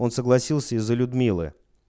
он согласился из-за людмилы